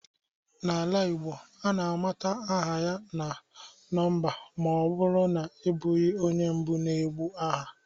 N'ala Igbo, a na-amata aha ya na nọmba ma ọ bụrụ na ị bụghị onye mbụ na-ekwu aha